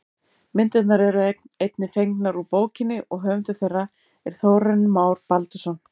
Myndirnar eru einnig fengnar úr bókinni og höfundur þeirra er Þórarinn Már Baldursson.